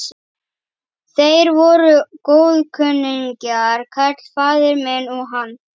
Þeir voru góðkunningjar, karl faðir minn og hann.